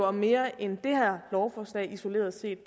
om mere end det her lovforslag isoleret set